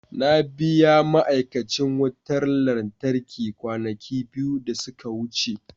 Na biya ma'aikacin wutar lantarki kwanaki biyu da suka wuce.